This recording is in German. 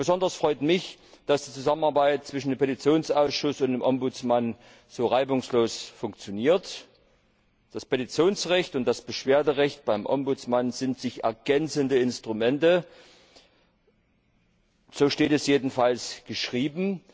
Besonders freut mich, dass die Zusammenarbeit zwischen dem Petitionsausschuss und dem Bürgerbeauftragten so reibungslos funktioniert. Das Petitionsrecht und das Beschwerderecht beim Bürgerbeauftragten sind sich ergänzende Instrumente, so steht es jedenfalls geschrieben.